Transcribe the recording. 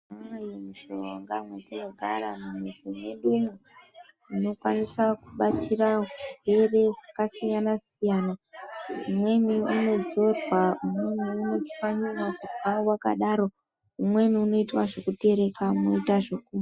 Imweni mishonga mumiti yekare mumizi mwedu umu inokwanisa kubatsira varwere vakasiyana siyana imweni inodzorwa imweni inotswanyiwa kumwa wakadaro imweni inoita zvekuterekwa moita zvekumwa..